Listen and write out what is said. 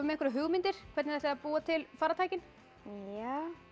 einhverjar hugmyndir hvernig þið ætlið að búa til farartækin já